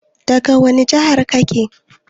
Daga wani jihar kake?